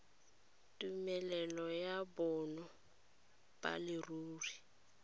tumelelo ya bonno ba leruri